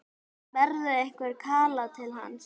Berðu einhvern kala til hans?